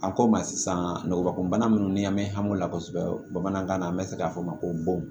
A ko ma sisan nɔgɔ ko bana minnu ni an mɛ hami o la kosɛbɛ bamanankan na an be se k'a fɔ ma ko bon